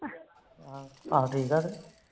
ਆਹੋ ਠੀਕ ਆ ਫਿਰ